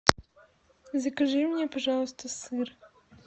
закажи мне пожалуйста сыр